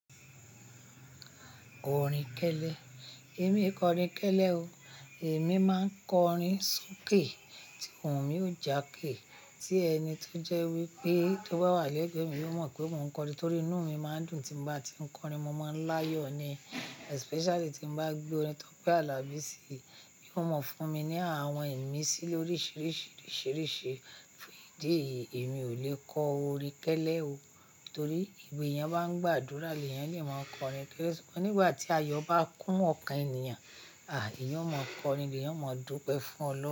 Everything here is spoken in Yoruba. Orin kélè, èmii kò orin kẹ́lẹ́ o. Èmi máa n kọ orin soké tí òhun mi ò jàké. Tí ẹni tó jẹ́ wípé tó bá wà lẹ́gbẹ̀ẹ́ mi yóò mọ̀ pé mò ń kọ orin torí inú mi máa ń dùn tí n bá tí ń kọ orin, mo máa ń láyọ̀ ni especially tí n bá gbé orin Tọ́pẹ́ Alabi sí i. Ó mọ̀ fún mi ní àwọn ìmísí lóríṣìíríṣìí, risiìriṣìi fún ìdí èyí èmi ò lè kọ orin kẹ́lẹ́ o. Torí ìgbà èèyàn bá ń gbàdúrà lèyàn lè máa kọ orin kẹ́lẹ̀ sugbon nígbà tí ayọ̀ bá kún ọkàn ènìyàn, à eeyan ọ mọ kọ orin ni, eeyan ọ mọ dúpẹ́ fún Ọlọ́run.